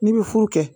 N'i bɛ furu kɛ